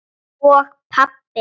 og pabbi.